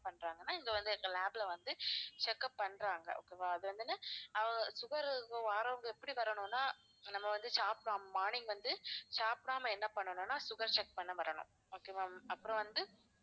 பண்றாங்கனா இங்க வந்து எங்க lab ல வந்து check up பண்றாங்க okay வா அது வந்து அஹ் sugar இருக்கிறவங்க வாறவங்க எப்படி வரணும்னா நம்ம வந்து சாப்பிடாம morning வந்து சாப்பிடாம என்ன பண்ணனுனா sugar check பண்ண வரணும் okay வா அப்புறம் வந்து